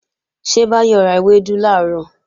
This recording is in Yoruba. Ṣé Báyọ̀ ra ewédú làárọ̀?